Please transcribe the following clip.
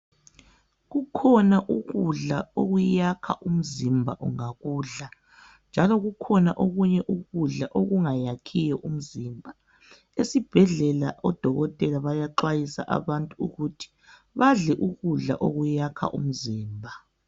Kukhona ukudla okuyakha umzimba ungakudla njalo kukhona okunye ukudla okungayakhiyo umzimba. Esibhedlela odokotela bayaxwayisa abantu ukuthi badle ukudla okuyakha umzimba.